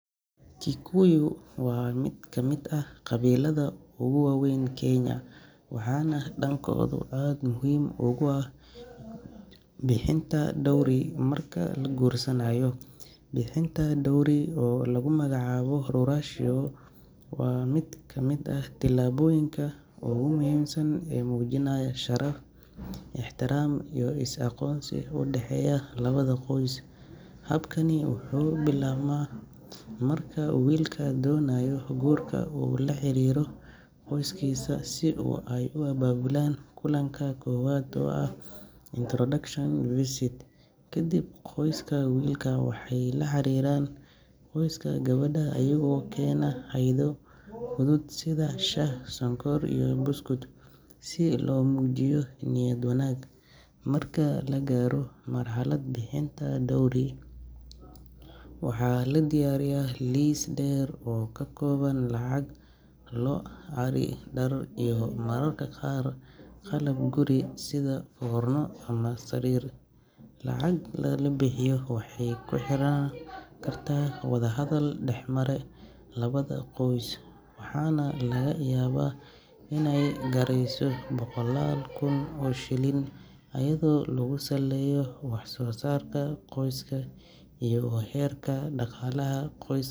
Kikuyu waa mid ka mid ah qabiilada ugu waaweyn Kenya, waxaana dhaqankooda aad muhiim ugu ah bixinta dowry marka la guursanayo. Bixinta dowry oo lagu magacaabo "ruracio" waa mid ka mid ah tallaabooyinka ugu muhiimsan ee muujinaya sharaf, ixtiraam, iyo is-aqoonsi u dhexeeya labada qoys. Habkani wuxuu bilaabmaa marka wiilka doonaya guurka uu la xiriiro qoyskiisa si ay u abaabulaan kulanka koowaad oo ah introduction visit. Kadib, qoyska wiilka waxay la xiriiraan qoyska gabadha iyagoo keena hadyado fudud sida shaah, sonkor, iyo buskud si loo muujiyo niyad wanaag. Marka la gaaro marxaladda bixinta dowry, waxaa la diyaariyaa liis dheer oo ka kooban lacag, lo’, ari, dhar, iyo mararka qaar qalab guri sida foorno ama sariir. Lacagta la bixiyo waxay ku xirnaan kartaa wadahadal dhex mara labada qoys, waxaana laga yaabaa inay gaarayso boqolaal kun oo shilin iyadoo lagu saleeyo wax-soo-saarka qoyska iyo heerka dhaqaalaha. Qoysk.